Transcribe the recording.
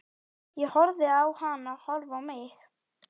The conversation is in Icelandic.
Ég horfði á hana horfa á mig.